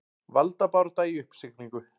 Valdabarátta í uppsiglingu